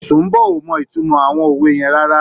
Sùḿbò ò mọ ìtumọ àwọn òwe yẹn rárá.